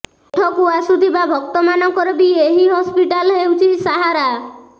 ଏଠକୁ ଆସୁଥିବା ଭକ୍ତମାନଙ୍କର ବି ଏହି ହସ୍ପିଟାଲ େହଉଛି ସାହାରା